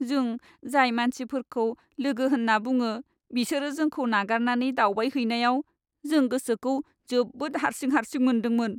जों जाय मानसिफोरखौ लोगो होन्ना बुङो बिसोरो जोंखौ नागारनानै दावबायहैनायाव, जों गोसोखौ जोबोद हारसिं हारसिं मोनदोंमोन।